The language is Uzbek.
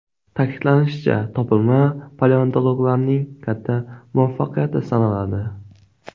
Ta’kidlanishicha, topilma paleontologlarning katta muvaffaqiyati sanaladi.